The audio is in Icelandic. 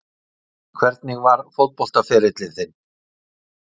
Hvernig var fótboltaferillinn þinn?